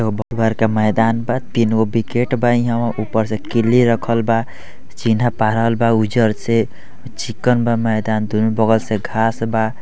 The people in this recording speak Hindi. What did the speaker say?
घर के मैदान बा | तीन गो विकेट बा इहां उहां | ऊपर से किलि रखल बा | चिन्हा पारल बा उजर से अ चिक्कन बा मैदान दूनू बगल से घास बा |